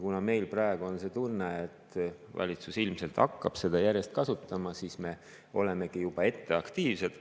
Kuna meil praegu on tunne, et valitsus ilmselt hakkab seda järjest kasutama, siis me olemegi juba ette aktiivsed.